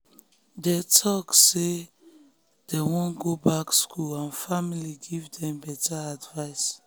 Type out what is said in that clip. after um she hold talks with them about her plans dem respect um her choice to do um business.